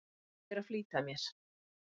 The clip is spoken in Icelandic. Ég er að flýta mér!